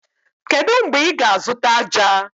Kedu mgbe ị ga-azụta ájá?